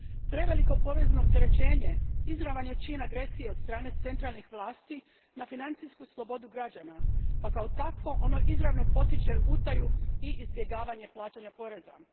Preveliko porezno opterećenje izravan je čin agresije od strane centralnih vlasti na financijsku slobodu građana pa kao takvo ono izravno potiče utaju i izbjegavanje plaćanja poreza.